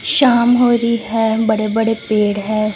शाम हो रही है बड़े बडे पेड़ हैं।